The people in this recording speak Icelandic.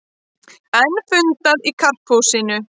Enn fundað í Karphúsinu